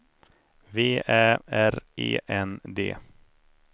V Ä R E N D